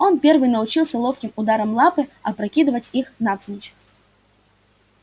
он первый научился ловким ударом лапы опрокидывать их навзничь